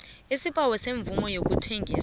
isibawo semvumo yokuthengisa